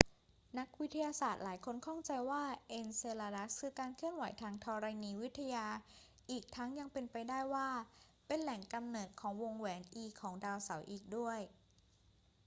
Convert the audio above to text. นักวิทยาศาสตร์หลายคนข้องใจว่าเอนเซลาดัสคือการเคลื่อนไหวทางธรณีวิทยา อีกทั้งยังเป็นไปได้ว่าเป็นแหล่งกำเนิดของวงแหวน e ของดาวเสาร์อีกด้วย